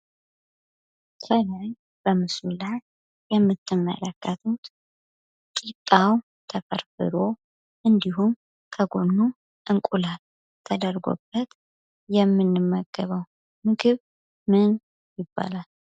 ከላይ የምትመለከቱት ቂጣ ተፈርፍሮ እንዲሁም እንቁላል ተደርጎበት የምንመገበው ምግብ ምን ይባላል?